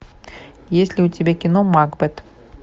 есть ли у тебя кино макбет